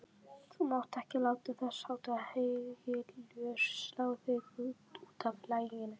Þú mátt ekki láta þessháttar hégiljur slá þig útaf laginu.